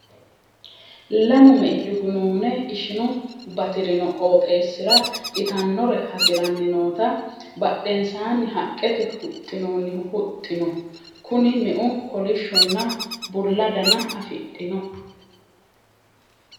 Lamu mei dugunuune ishinu batirino qooxeessira itannore hasiranni noota badhensaanni haqqete huxxinoonni huxxi no. Kuni meu kolishshonna bulla dana afidhino.